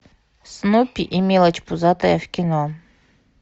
снупи и мелочь пузатая в кино